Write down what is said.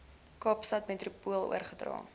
kaapstad metropool oorgedra